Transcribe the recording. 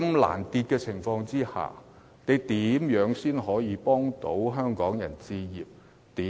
在此情況下，政府如何協助香港人置業？